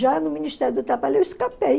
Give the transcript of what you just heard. Já no Ministério do Trabalho eu escapei.